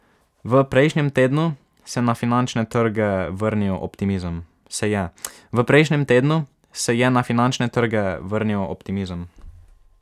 V prejšnjem tednu se je na finančne trge vrnil optimizem.